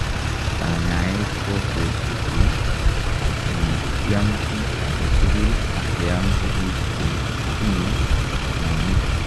Kanyaaet ko ketepepii komakiam kiy agee tugul ak keam tuguk chemtinyee mwanik